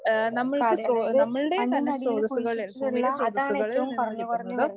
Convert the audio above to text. ആഹ് നമ്മൾക്ക് സ്രോ നമ്മളുടെ തന്നെ സ്രോതസ്സുകളെ ഭൂമിയിലെ സ്രോതസ്സുകളിൽ നിന്ന് കിട്ടുന്ന